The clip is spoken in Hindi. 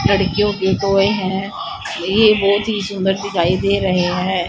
लड़कियों के कोय हैं ये बहोत ही सुंदर दिखाई दे रहे हैं।